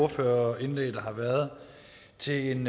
ordførerindlæg der har været til en